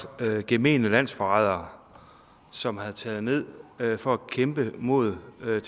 gemene landsforrædere som er taget ned for at kæmpe mod alle